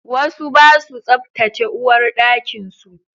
Wasu ba su tsaftace uwarɗakin su